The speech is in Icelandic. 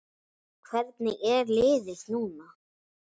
Hvernig er liðið núna?